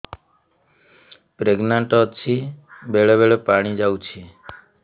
pregnant ଅଛି ବେଳେ ବେଳେ ପାଣି ଯାଉଛି